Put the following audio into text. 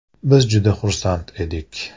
Biz juda xursand edik.